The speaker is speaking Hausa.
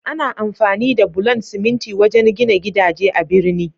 Ana amfani da bulan siminti wajen gina gidaje a'birni.